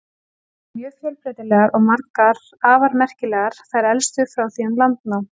Þær eru mjög fjölbreytilegar og margar afar merkilegar, þær elstu frá því um landnám.